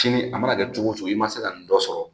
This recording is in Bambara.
Sini a mana kɛ cogo cogo i ma se ka nin dɔ sɔrɔ